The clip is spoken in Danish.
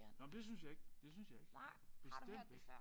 Nåh men det synes jeg ikke det synes jeg ikke. Bestemt ikke